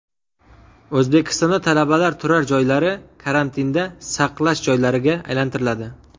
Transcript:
O‘zbekistonda talabalar turar joylari karantinda saqlash joylariga aylantiriladi.